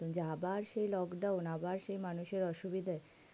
যে আবার সেই lockdown আবার সেই মানুষ এর অসুবিধে.